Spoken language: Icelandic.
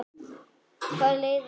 Hvað leiðir af þessu?